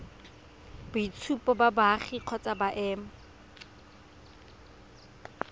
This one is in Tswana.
boitshupo ba boagi kgotsa boemo